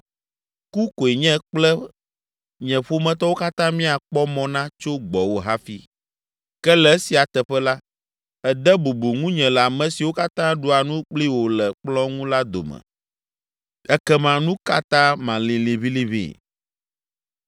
Ku koe nye kple nye ƒometɔwo katã míakpɔ mɔ na tso gbɔwò hafi, ke le esia teƒe la, ède bubu ŋunye le ame siwo katã ɖua nu kpli wò le kplɔ̃ ŋu la dome! Ekema, nu ka ta malĩ liʋĩliʋĩ?”